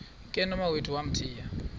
ke nomawethu wamthiya